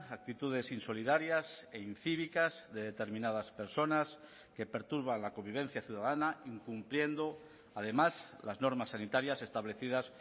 actitudes insolidarias e incívicas de determinadas personas que perturban la convivencia ciudadana incumpliendo además las normas sanitarias establecidas